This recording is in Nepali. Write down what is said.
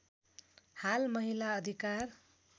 हाल महिला अधिकार